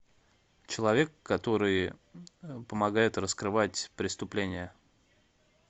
человек который помогает раскрывать преступления